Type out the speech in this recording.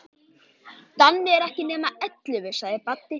Danni er ekki nema ellefu, sagði Baddi.